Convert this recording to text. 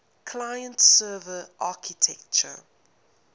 client server architecture